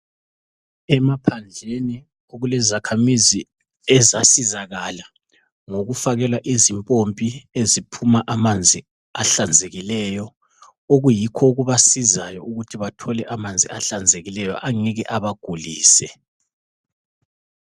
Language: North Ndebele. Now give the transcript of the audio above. Emaphandleni kulezakhamizi ezasizakala ngokufakelwa izimpompi eziphuma amanzi ahlanzekileyo, okuyikho okubasizayo ukuthi bathole amanzi ahlanzekileyo angeke abagulise.